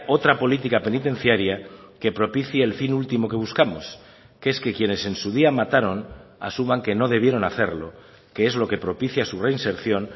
otra política penitenciaria que propicie el fin último que buscamos que es que quienes en su día mataron asuman que no debieron hacerlo que es lo que propicia su reinserción